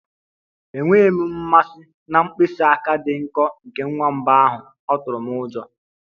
Enweghị m mmasị na mkpịsị aka dị nkọ nke nwamba ahụ, ọ tụrụ m ụjọ.